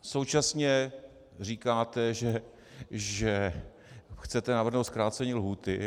Současně říkáte, že chcete navrhnout zkrácení lhůty.